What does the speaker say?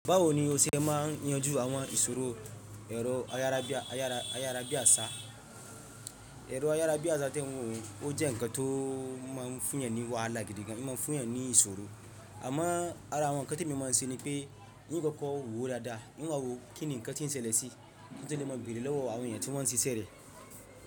Bawo ni o ṣe máa ń yanjú àwọn ìṣòro èrò ayárábiàsá? Èrò ayárábiàsá tẹ́ n wọ̀ un, o jẹ́ nǹkan tó máa ń fúnyan ní wàhálà gidi gan, ín máa ń fúnyan ní ìṣòro. Àmo ara àwọn nǹkan temi máa ń ṣe ni pé, n koko wọ́ dáadáa, n wa wo kíni nǹkan tí ń ṣẹlẹ̀ sí, kí n to le ma béèrè lọ́wọ́ àwọn èeyàn tí wọ́n ń ṣiṣẹ́ rẹ̀.